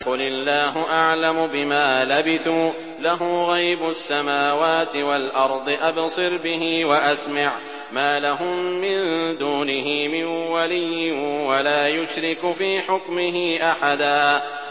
قُلِ اللَّهُ أَعْلَمُ بِمَا لَبِثُوا ۖ لَهُ غَيْبُ السَّمَاوَاتِ وَالْأَرْضِ ۖ أَبْصِرْ بِهِ وَأَسْمِعْ ۚ مَا لَهُم مِّن دُونِهِ مِن وَلِيٍّ وَلَا يُشْرِكُ فِي حُكْمِهِ أَحَدًا